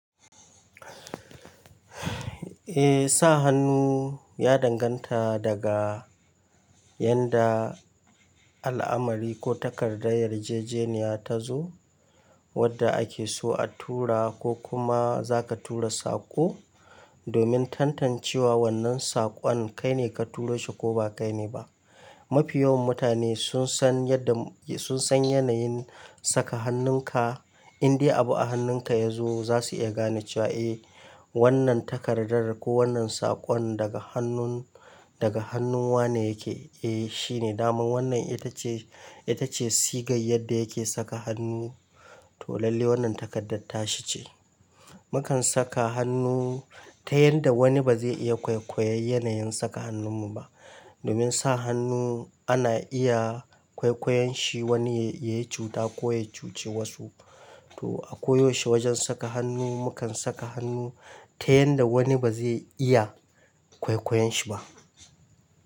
Eh sa hannu ya danganta daga yanda al'amari ko takardar yarjejeniya tazo wadda ake so a tura ko kuma zaka tura saƙo, domin tantancewa wannan saƙon kai ne ka turo shi ko bakai ne ba. Mafi yawan mutane sun san yadda, sun san yanayin saka hannun ka in dai abu a hannun ka yazo zasu iya gane cewa eh wannan takardar ko wannan saƙon daga hannun, daga hannun wane yake. Eh shine daman wannan ita ce, ita ce sigar yadda yake saka hannu to lalle wannan takardar tashi ce. Mukan saka hannu ta yanda wani ba zai iya kwaikwayon yanayin saka hannun mu ba. Domin sa hannu ana iya kwaikwayon shi wani ya yi cuta ko ya cuce wasu. To a ko yaushe wajen saka hannu mukan saka hannu ta yanda wani ba zai iya kwaikwayon shi ba.